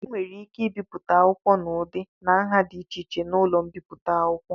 E nwere ike ibipụta akwụkwọ n'ụdị na nha dị iche iche n'ụlọ mbipụta akwụkwọ.